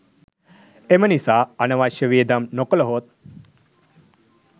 එම නිසා අනවශ්‍ය වියදම් නොකළහොත්